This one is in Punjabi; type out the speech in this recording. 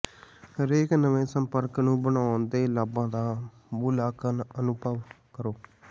ਹਰੇਕ ਨਵੇਂ ਸੰਪਰਕ ਨੂੰ ਬਣਾਉਣ ਦੇ ਲਾਭਾਂ ਦਾ ਮੁਲਾਂਕਣ ਅਤੇ ਅਨੁਭਵ ਕਰੋ